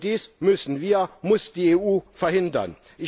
Dies müssen wir, muss die EU verhindern.